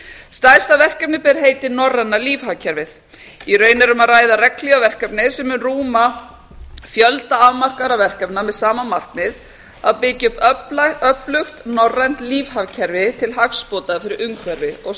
stærsta verkefnið ber heitið norræna lífhagkerfið í raun er um að ræða regnhlífarverkefni sem mun rúma fjölda afmarkaðra verkefna með sama markmið að byggja upp öflugt norrænt lífhagkerfi til hagsbóta fyrir umhverfi og